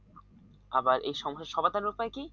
আবার এই সমস্যা সমাধানের উপায় কি?